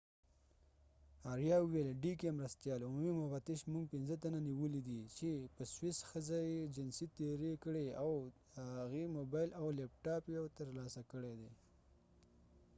مرستیال عمومي مفتش dk آریا وویل موږ پنځه تنه نیولي دي چې په سویس ښځه یې جنسي تیری کړی او د هغې موبایل او لپټاپ یو ترلاسه کړی دی